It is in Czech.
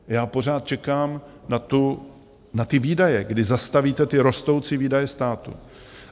Já pořád čekám na ty výdaje, kdy zastavíte ty rostoucí výdaje státu.